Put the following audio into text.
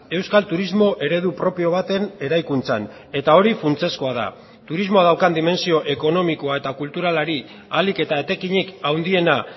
euskal turismo eredu propio baten eraikuntzan eta hori funtsezkoa da turismoa daukan dimentsio ekonomikoa eta kulturalari ahalik eta etekinik handiena